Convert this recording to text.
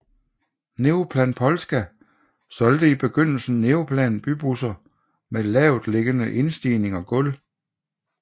Neoplan Polska solgte i begyndelsen Neoplan bybusser med lavtliggende indstigning og gulv